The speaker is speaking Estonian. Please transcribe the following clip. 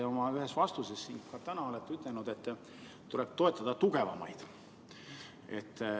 Te oma ühes vastuses siin ka täna olete öelnud, et tuleb toetada tugevamaid.